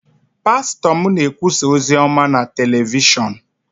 pastọ m na-ekwusa ozi ọma na telivishọn